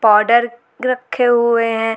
Powder रखे हुए हैं।